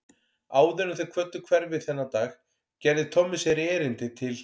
Áður en þeir kvöddu hverfið þennan dag gerði Tommi sér erindi til